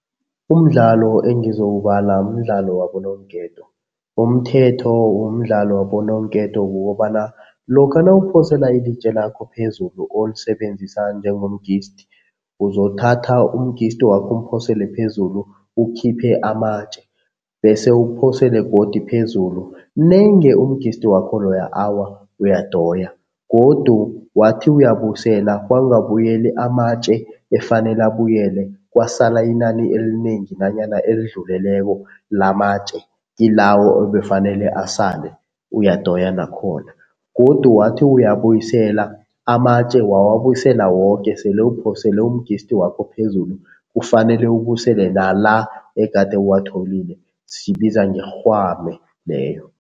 Umdlalo engizowubala mdlalo wabononketo. Umthetho womdlalo wabononketo kukobana lokha nawuphosela ilitje lakho phezulu olisebenzisa njengo , uzothatha wakho umphosele phezulu, ukhiphe amatje bese uphosele godu phezulu, nenge wakho loya awa uyadoya godu wathi uyabuyisela kwangabuyeli amatje efanele abuyele, kwasala inani elinengi nanyana elidluleleko lamatje kilawo ebefanele asale, uyadoya nakhona. Godu, wathi uyabuyisele amatje wawabuyisela woke sele uphosele wakho phezulu kufanele ubuyisele nala egade uwatholile, siyibiza ngerhwame leyo.